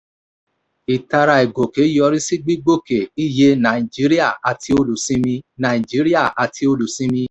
ìtara ìgòkè yọrí sí gbígbòkè iye nàìjíríà àti olùsinmi. nàìjíríà àti olùsinmi.